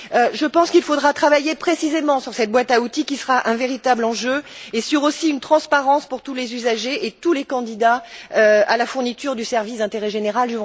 Je pense qu'il faudra travailler précisément sur cette boîte à outils qui sera un véritable enjeu et aussi sur une transparence pour tous les usagers et tous les candidats à la fourniture du service d'intérêt général.